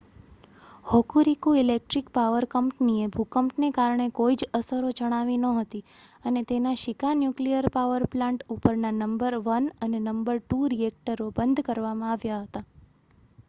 Hokuriku electric power કંપનીએ ભૂકંપને કારણે કોઈ જ અસરો જણાવી નહોતી અને તેના શીકા ન્યુક્લીયર પાવર પ્લાન્ટ ઉપરના નંબર 1 અને નંબર 2 રીએકટરો બંધ કરવામાં આવ્યા હતા